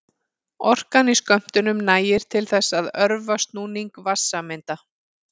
Orkan í skömmtunum nægir til þess að örva snúning vatnssameinda.